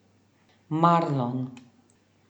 Marlon.